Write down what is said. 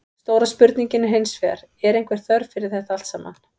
Stóra spurningin er hinsvegar, er einhver þörf fyrir þetta allt saman?